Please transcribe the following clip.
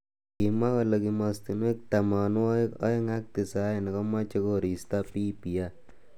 Kimwa kole kimostonwek tamanwagik aeng ak tisaini komeche kosirto BBI.